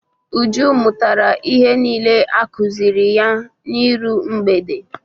Uju mụtara ihe niile a kụziri ya n'iru mgbede.